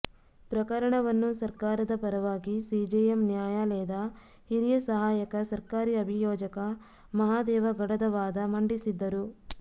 ಪ್ರಕರಣವನ್ನು ಸರ್ಕಾರದ ಪರವಾಗಿ ಸಿಜೆಎಂ ನ್ಯಾಯಾಲಯದ ಹಿರಿಯ ಸಹಾಯಕ ಸರ್ಕಾರಿ ಅಭಿಯೋಜಕ ಮಹಾದೇವ ಗಡದವಾದ ಮಂಡಿಸಿದ್ದರು